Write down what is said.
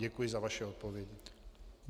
Děkuji za vaše odpovědi.